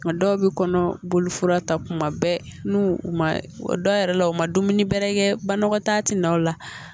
Nka dɔw bɛ kɔnɔboli fura ta tuma bɛɛ n'u u ma dɔw yɛrɛ la u ma dumuni bɛrɛ kɛ balima ta tɛ na o la